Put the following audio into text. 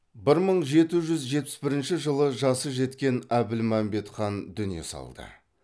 бір мың жеті жүз жетпіс бірінші жылы жасы жеткен әбілмәмбет хан дүние салды